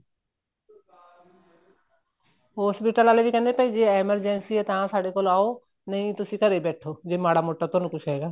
hospital ਵਾਲੇ ਵੀ ਕਹਿੰਦੇ ਜ਼ੇ ਭਾਈ emergency ਤਾਂ ਸਾਡੇ ਕੋਲ ਆਓ ਨਹੀਂ ਤੁਸੀਂ ਘਰੇ ਬੈਠੋ ਜ਼ੇ ਮਾੜਾ ਮੋਟਾ ਤੁਹਾਨੂੰ ਕੁੱਝ ਹੈਗਾ